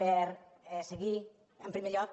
per seguir en primer lloc